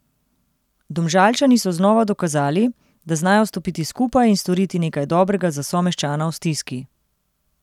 Domžalčani so znova dokazali, da znajo stopiti skupaj in storiti nekaj dobrega za someščana v stiski.